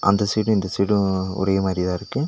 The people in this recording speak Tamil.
அந்த சைடு இந்த சைடு ஒரே மாரிதா இருக்கு.